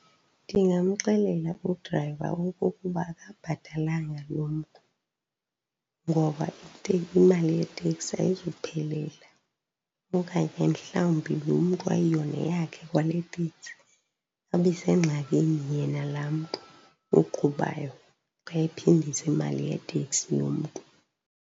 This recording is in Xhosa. Ndingamxelela udrayiva okokuba akabhatalanga loo mntu, ngoba imali yeteksi ayizuphelela. Okanye mhlawumbi loo mntu ayiyo neyakhe kwale teksi, abe sengxakini yena laa mntu uqhubayo xa ephindisa imali yeteksi yomntu.